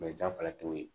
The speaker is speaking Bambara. fɛnɛ t'o ye